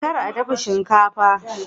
Kar a dafa shinkafa!